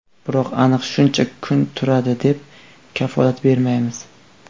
Biroq aniq shuncha kun turadi, deb kafolat bermaymiz.